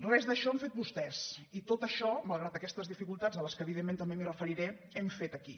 res d’això han fet vostès i tot això malgrat aquestes dificultats a les quals evidentment també m’hi referiré hem fet aquí